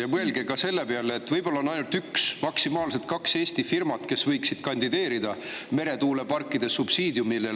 Ja mõelge ka selle peale, et võib-olla on ainult üks Eesti firma, maksimaalselt kaks, kes võiksid kandideerida meretuuleparkide subsiidiumile.